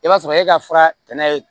I b'a sɔrɔ e ka fura kɛnɛ